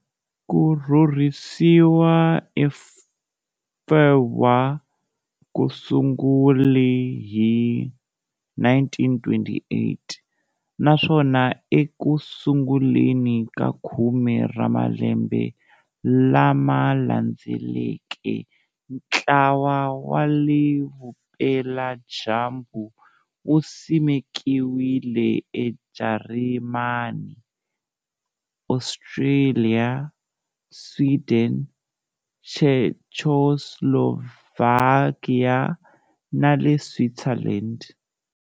Ku tirhisiwa eFurwa ku sungule hi 1928, naswona eku sunguleni ka khume ra malembe lama landzeleke ntlawa wa le Vupela-dyambu wu simekiwile eJarimani, Austria, Sweden, Czechoslovakia ni le Switzerland.